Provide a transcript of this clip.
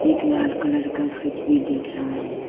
एक लाल कलर का फ्रिज भी दिख रहा है।